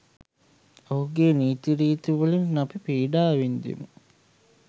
ඔහුගේ නීතිරීති වලින් අපි පීඩා වින්දෙමු.